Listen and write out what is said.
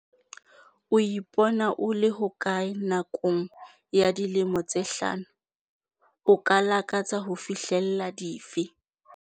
O ipona o le hokae nakong ya dilemo tse hlano? O ka lakatsa ho fihlella dife?